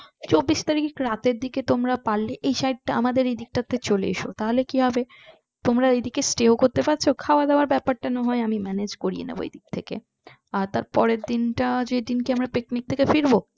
চব্বিশ তারিক তোমরা রাতের দিকে তোমরা পারলে এই side টা আমাদের এদিকে চলে এস তাহলে কি হবে তোমরা এইদিকে stay ও করতে পারছো আর খাওয়া দাওয়া ব্যাপারটা নাহয় আমি manage করে দিবে এই দিক থেকে